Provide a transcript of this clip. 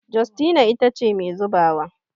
Justina ita ce Mai zubawa